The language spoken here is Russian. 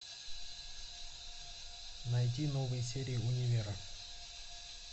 найди новые серии универа